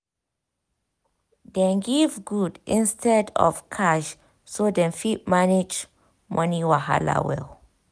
dem give goods instead of cash so dem fit manage money wahala well